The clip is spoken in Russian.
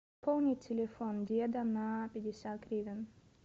пополни телефон деда на пятьдесят гривен